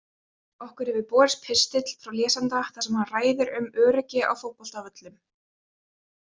Okkur hefur borist pistill frá lesanda þar sem hann ræðir um öryggi á fótboltavöllum.